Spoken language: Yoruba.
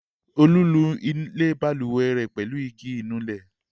Olú nu ilẹ̀ balùwẹ̀ pẹ̀lú igi ìnulẹ̀.